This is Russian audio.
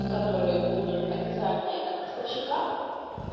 которые будут официальные от поставщика